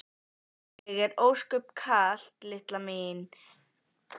Er þér ósköp kalt litla mín? spurði annar gamli karlinn.